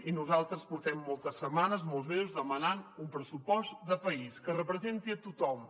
i nosaltres portem moltes setmanes molts mesos demanant un pressupost de país que representi tothom